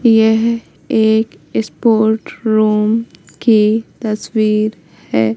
यह एक sport room की तस्वीर है।